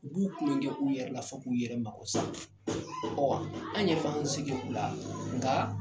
U b'u kulɔnkɛ u yɛrɛ la, fɔ k'u yɛrɛ mako sa . an yɛrɛ k'an si kɛ u la, nka